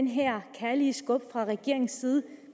her kærlige skub fra regeringens side